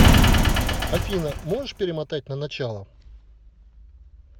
афина можешь перемотать на начало